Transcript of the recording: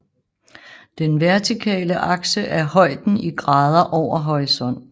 Den vertikale akse er højden i grader over horisonten